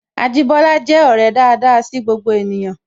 Ajibola je ọrẹ daada sí gbogbo ènìyàn